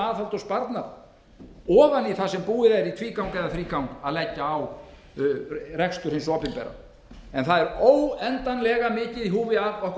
aðhald og sparnað ofan í það sem búið er í tvígang eða þrígang að leggja á rekstur hins opinbera en það er óendanlega mikið í húfi að okkur